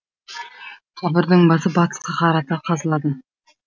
қабірдің басы батысқа қарата қазылады